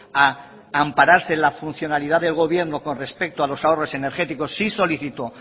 a ampararse en la funcionalidad del gobierno con respecto a los ahorros energéticos sí solicito